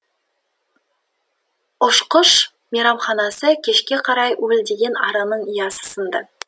ұшқыш мейрамханасы кешке қарай уілдеген араның ұясы сынды